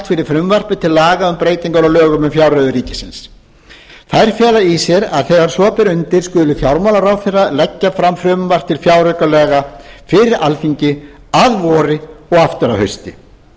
fyrir frumvarpi til laga um breytingar á lögum um fjárreiður ríkisins þær fela í sér að þegar svo ber undir skuli fjármálaráðherra leggja fram frumvarp til fjáraukalaga fyrir alþingi að vori og aftur að hausti